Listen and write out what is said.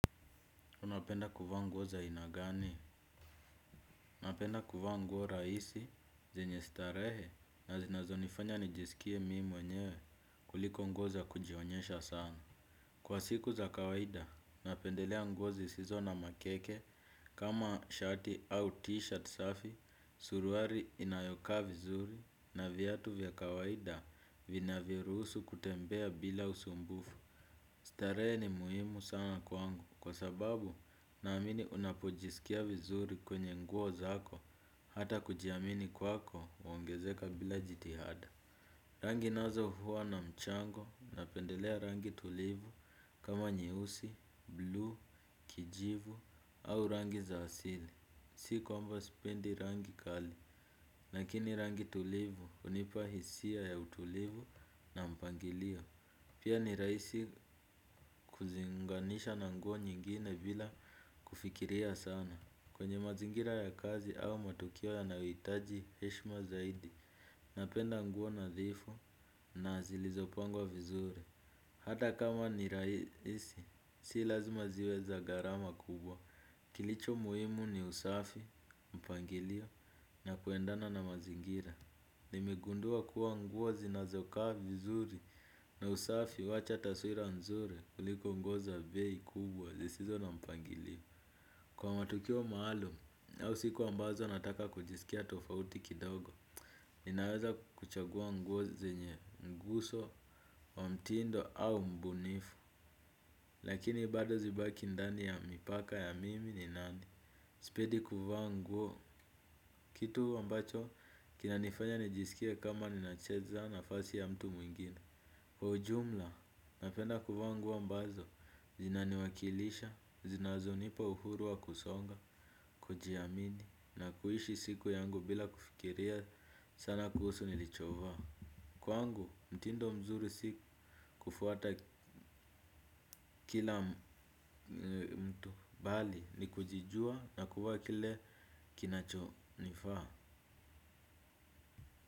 Unapenda kuvaa nguo za aina gani? Napenda kuvaa nguo za rahisi, zenye starehe, na zinazo nifanya nijisikie mimi mwenyewe kuliko nguo za kujionyesha sana. Kwa siku za kawaida, napendelea nguo zisizo na makeke, kama shati au t-shirt safi, suruali inayokaa vizuri, na viatu vya kawaida vinavyoruhusu kutembea bila usumbufu. Starehe ni muhimu sana kwangu kwa sababu naamini unapojisikia vizuri kwenye nguo zako hata kujiamini kwako huongezeka bila jitihada. Rangi nazo huwa na mchango napendelea rangi tulivu kama nyeusi, bluu, kijivu au rangi za asili. Si kwamba sipendi rangi kali, lakini rangi tulivu hunipa hisia ya utulivu na mpangilio. Pia ni rahisi kuziunganisha na nguo nyingine bila kufikiria sana. Kwenye mazingira ya kazi au matukio yanayohitaji heshima zaidi, napenda nguo nadhifu na zilizopangwa vizuri. Hata kama ni rahisi, si lazima ziwe za gharama kubwa. Kilicho muhimu ni usafi mpangilio na kuendana na mazingira. Nimegundua kuwa nguo zinazokaa vizuri na usafi huacha taswira nzuri kuliko nguo za bei kubwa zisizo na mpangilio. Kwa matukio maalum au siku ambazo nataka kujisikia tofauti kidogo ninaweza kuchagua nguo zenye nguzo wa mtindo au mbunifu lakini bado zibaki ndani ya mipaka ya mimi ni nani. Sipendi kuvaa nguo, kitu ambacho kinanifanya nijisikie kama ninacheza nafasi ya mtu mwingine. Kwa ujumla, napenda kuvaa nguo ambazo, zinaniwakilisha, zinazo nipa uhuru wa kusonga, kujiamini, na kuishi siku yangu bila kufikiria sana kuhusu nilichovaa. Kwangu, mtindo mzuri si kufuata kila mtu bali, ni kujijua na kuvaa kile kinacho nifaa.